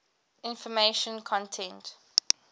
information content